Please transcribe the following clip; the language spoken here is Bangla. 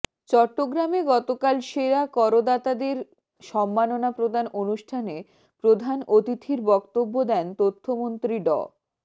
চট্টগ্রামে গতকাল সেরা করদাতাদের সম্মাননা প্রদান অনুষ্ঠানে প্রধান অতিথির বক্তব্য দেন তথ্যমন্ত্রী ড